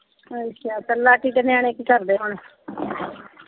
ਅੱਛਾ ਦੇ ਨਿਆਣੇ ਕੀ ਕਰਦੇ ਹੁਣ?